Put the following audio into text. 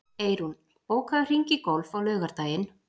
Eyrún, bókaðu hring í golf á laugardaginn.